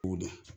O don